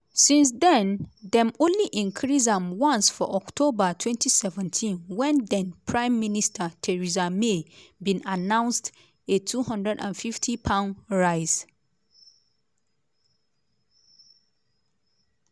since then dem only increase am once for october 2017 wen then-prime minister theresa may bin announced a £250 rise.